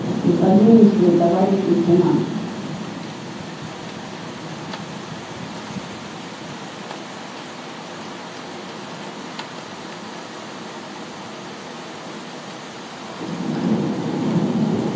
припозднились вы товарищ лейтенант